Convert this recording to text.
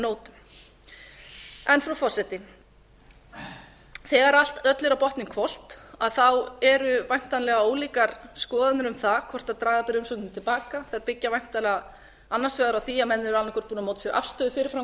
nótum frú forseti þegar öllu er á botninn hvolft eru væntanlega ólíkar skoðanir um það hvort draga beri umsóknina til baka þær byggja væntanlega annars vegar á því að menn eru annað hvort búnir að móta sér afstöðu fyrir fram